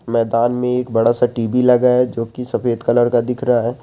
मैदान में एक बड़ा सा टी_वी लगा हुआ है जो की सफेद कलर का दिख रहा है।